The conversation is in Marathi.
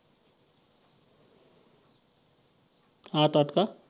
आठ. आठ